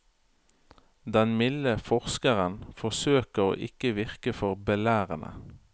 Den milde forskeren forsøker å ikke virke for belærende.